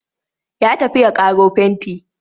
Ya tafi ya ƙaro fenti.